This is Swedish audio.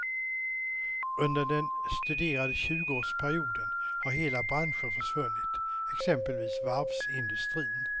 Under den studerade tjugoårsperioden har hela branscher försvunnit, exempelvis varvsindustrin.